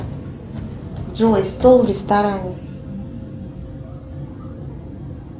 джой стол в ресторане